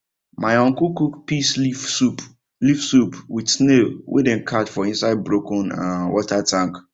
my uncle cook peace leaf soup leaf soup with snail wey dem catch for inside broken um water tank